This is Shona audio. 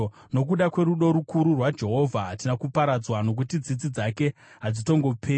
Nokuda kwerudo rukuru rwaJehovha, hatina kuparadzwa, nokuti tsitsi dzake hadzitongoperi.